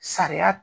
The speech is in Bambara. Sariya